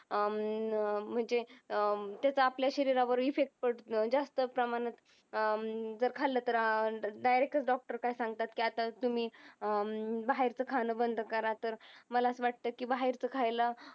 हम्म अं म्हणजे अं त्याचा आपल्या शरीरावर effect जास्त प्रमाणात अं जर खाल्लं तर direct च doctor काय सांगतात की आता तुम्ही अं बाहेरचं खाण बंद करा तर मला असा वाटतं की बाहेरचं खायला